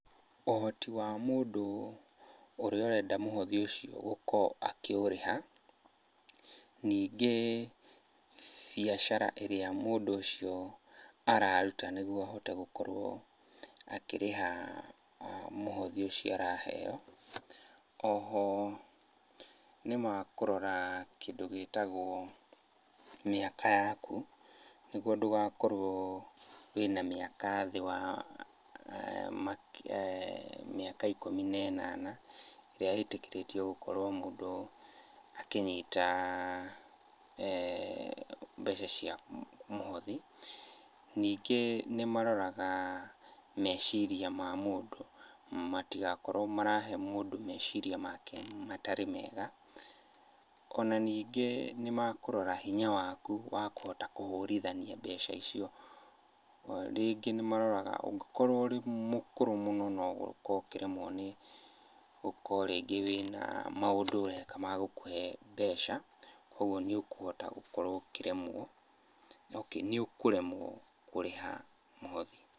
Ũhoti wa mũndũ, ũrĩa ũrenda mũhothi ũcio gũkorwo akĩũrĩha, ningĩ biacara ĩrĩa mũndũ ũcio araruta nĩguo ahote gũkorwo akĩrĩha mũhothi ũcio araheo. Oho nĩmakũrora kĩndũ gĩtagwo mĩaka yaku, nĩguo ndũgakorwo wĩna mĩaka thĩ wa mĩaka ikũmi na ĩnana, ĩrĩa ĩtĩkĩrĩtio gũkorwo mũndũ akĩnyita mbeca cia mũhothi. Ningĩ nĩmaroraga meciria ma mũndũ, matigakorwo marahe mũndũ meciria make matarĩ mega. Ona ningĩ nĩmekũrora hinya waku, wa kũhota kũhũrithania mbeca icio. Rĩngĩ nĩmaroraga ũngĩkorwo ũrĩ mũkũrũ mũno no ũkorwo ũkĩremwo nĩ gũkorwo rĩngĩ wĩna maũndũ ũreka ma gũkũhe mbeca, kuoguo nĩũkũhota gũkorwo ũkĩremwo, okay nĩũkũremwo kũrĩha mũhothi.